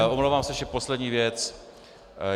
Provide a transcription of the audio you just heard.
A omlouvám se, ještě poslední věc.